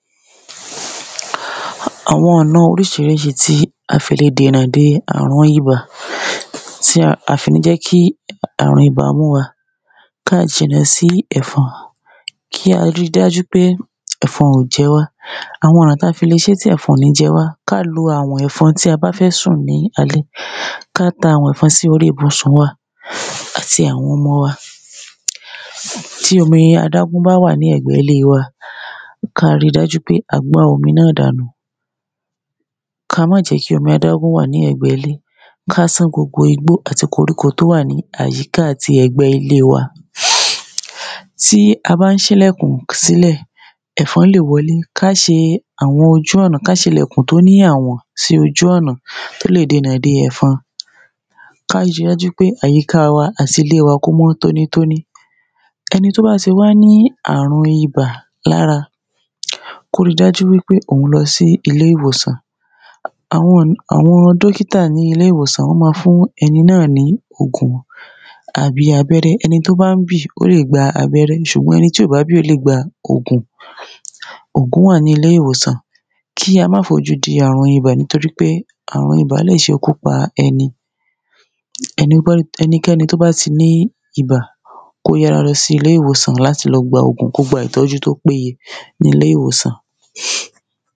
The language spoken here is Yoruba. Àwọn ọ̀nà oríṣiríṣi tí a fi lè dènà de ààrùn Ibà tí à fi ní jẹ́ kí ààrùn ibà mú wa Ká jìnà sí ẹ̀fọn Kí a ri dájú pé ẹ̀fọn ò jẹ wá Àwọn ọ̀nà tí a fi lè ṣe tí ẹ̀fọn ò ní jẹ wá Ká lo àwọ̀n ẹ̀fon tí a bá fẹ́ sùn ní alẹ́ Ká ta àwọ̀n ẹ̀fọ̀n sí orí ibùsùn wa àti àwọn ọmọ wa Tí omi adágún bá wà ní ẹ̀gbẹ́ ilé wa ká ri dájú pé a gbá omi náà dànù Ká má jẹ́ kí omi adágún wà ní ẹ̀gbẹ́ ilé Ká san gbogbo igbó àti koríko tó wà ní àyíká àti ẹ̀gbẹ́ ilé wa Tí a bá ń sílẹ́kùn sílẹ̀ ẹ̀fọn lè wọlé Ká ṣe àwọn ojú ọ̀nà Ká ṣe ilẹ̀kùn tó ní àwòn sí ojú ọnà tó lè dènà de ẹ̀fọn Ká ri dájú pé àyíká wa àti ilé wa kó mọ́ tóní tóní Ẹni tó bá tí wá ní ààrùn ibà lára kó ri dájú wípé òun lọ sí ilé ìwòsàn Àwọn um àwọn dókítà ní ilé ìwòsàn wọn ma fún ẹni náà ní ògùn tàbí abẹ́rẹ́ Ẹni tí ó bá ń bì ó lè gba abẹ́rẹ́ ṣùgbọ́n ẹni tí ò bá bì ó lè gba ògùn Ògùn wà ní ilé ìwòsàn Kí a má fojú di ààrùn ibà nítorípé ààrùn ibà lè sekú pa ẹni Ẹnikẹ́ni tó bá ti ní ibà kó yára lọ sí ilé ìwòsàn láti lọ gba ògùn Kó gba ìtọ́jú tó péye ní ilé ìwòsàn